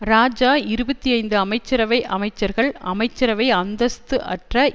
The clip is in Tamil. இராஜா இருபத்தி ஐந்து அமைச்சரவை அமைச்சர்கள் அமைச்சரவை அந்தஸ்து அற்ற